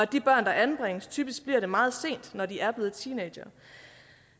de børn der anbringes typisk bliver det meget sent når de er blevet teenagere